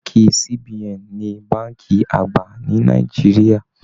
Bánkì CBN ni bánkì àgbà ni Nàìjíríà.